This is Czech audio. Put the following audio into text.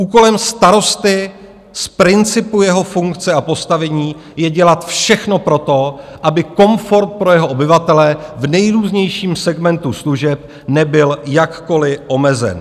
Úkolem starosty z principu jeho funkce a postavení je dělat všechno pro to, aby komfort pro jeho obyvatele v nejrůznějším segmentu služeb nebyl jakkoliv omezen.